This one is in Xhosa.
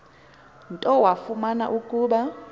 nto wafumana ukuba